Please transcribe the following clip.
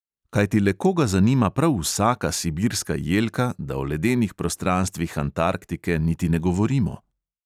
Kajti le koga zanima prav vsaka sibirska jelka, da o ledenih prostranstvih antarktike niti ne govorimo?